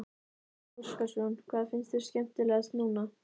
Gísli Óskarsson: Hvað fannst þér skemmtilegt núna?